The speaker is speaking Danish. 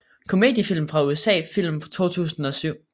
Komediefilm fra USA Film fra 2007